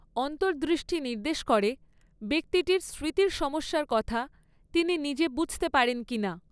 অন্তর্দৃষ্টি নির্দেশ করে ব্যক্তিটির স্মৃতির সমস্যার কথা তিনি নিজে বুঝতে পারেন কিনা।